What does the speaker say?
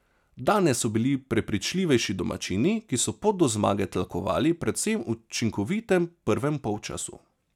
Danes so bili prepričljivejši domačini, ki so pot do zmage tlakovali predvsem v učinkovitem prvem polčasu.